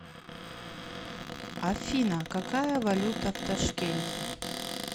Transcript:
афина какая валюта в ташкенте